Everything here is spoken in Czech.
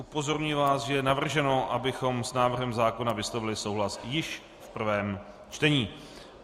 Upozorňuji vás, že je navrženo, abychom s návrhem zákona vyslovili souhlas již v prvém čtení.